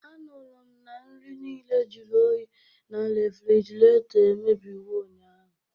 Anụrụ m na nri niile jụrụ oyi na refrjiraeto emebiwo ụnyaahụ